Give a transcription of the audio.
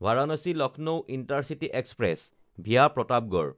Varanasi-Lucknow intercity express (VA Pratapgarh)